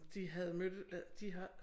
De havde mødt øh de har